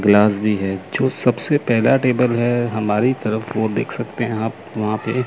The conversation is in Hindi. क्लास भी है जो सबसे पहला टेबल है हमारी तरफ वो देख सकते हैं आप वहां पे--